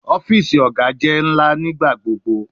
Ọfiisi Oga jẹ nigbagbogbo ńlá